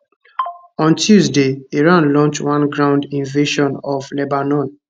on tuesday israel launch one ground invasion of lebanon